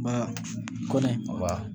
Ba kɔnɔ